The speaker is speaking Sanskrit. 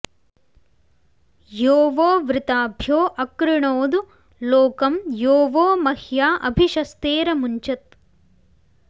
यो वो वृताभ्यो अकृणोदु लोकं यो वो मह्या अभिशस्तेरमुञ्चत्